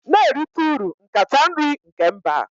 Na-erite uru nkata nri nke mba